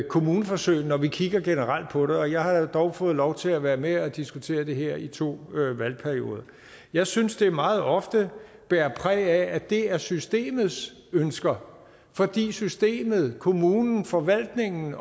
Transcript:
kommuneforsøg når vi kigger generelt på det og jeg har jo dog fået lov til at være med til at diskutere det her i to valgperioder jeg synes det meget ofte bærer præg af at det er systemets ønsker fordi systemet kommunen forvaltningen